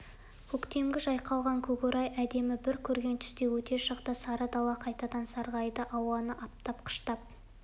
көктемгі жайқалған көкорай әдемі бір көрген түстей өте шықты сары дала қайтадан сарғайды ауаны аптап қыштап